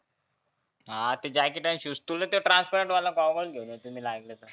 हा ते जॅकेट आणि shoes तुला ते transperant वाला goggles घेऊन येतो मी लागला तर.